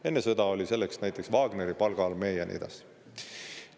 Enne sõda oli selleks näiteks Wagneri palgaarmee ja nii edasi.